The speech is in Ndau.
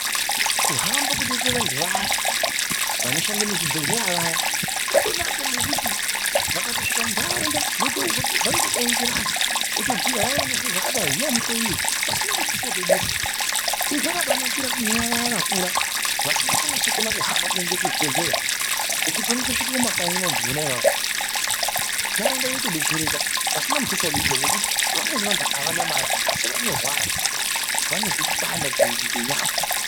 Kuhamba kunoita vantu vayaa vanoshanda muzvibhehleya vayaa, kwakanaka ngekuti vakasvika munharaunda vanotodainza vantu votobhuya payaa, Vayaa vanozwa zvakadai uyai muhloiwe pasina mutuso watoduswa. Izvi zvakabanakira kune vaya vakura vasingachanasi kukona kuhamba kuenda kuzvibhendleya ngekuti vanotosvika mumakanyi vantu vona avavo. Nharaunda yotodetsereka pasina mutuso waduswa Ngokuti vamweni vantu avana mare asi vanorwara. Vanozwa kupanda kwenyama.